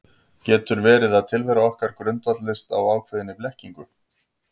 Getur verið að tilvera okkar grundvallist á ákveðinni blekkingu?